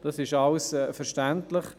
Das ist verständlich.